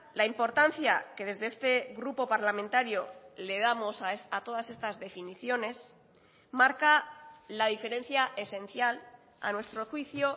la importancia que desde este grupo parlamentario le damos a todas estas definiciones marca la diferencia esencial a nuestro juicio